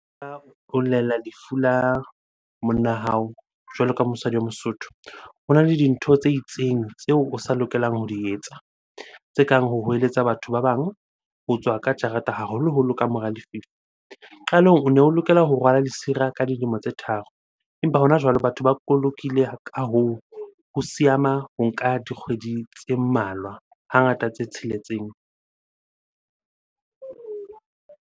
Lefu la monna hao jwalo ka mosadi wa mosotho. Hona le dintho tse itseng tseo o sa lokelang ho di etsa. Tse kang ho hweletsa batho ba bang, ho tswa ka jarete haholoholo ka mora . Qalong o ne o lokela ho rwala lesira ka dilemo tse tharo empa hona jwale batho ba kolokile. Ka hoo, ho o nka dikgwedi tse mmalwa hangata tse tsheletseng.